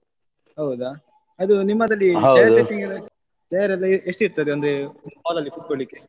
ಹೌದಾ ಅದು ನಿಮ್ಮದಲ್ಲಿ chair setting ಎಲ್ಲಾ chair ಎಲ್ಲ ಎಷ್ಟ್ತದೆ ಅಂದ್ರೆ hall ಅಲ್ಲಿ ಕುತ್ಕೊಳ್ಳಿಕ್ಕೆ?